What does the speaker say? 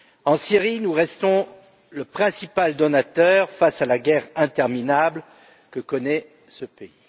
En Syrie, nous restons le principal donateur face à la guerre interminable que connaît ce pays.